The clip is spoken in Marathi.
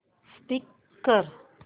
स्कीप कर